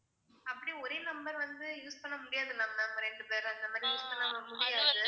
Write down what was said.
அப்டி ஒரே number வந்து use பண்ண முடியாதுல ma'am ரெண்டு பேர் அந்த மாதிரி use பண்ண முடியாது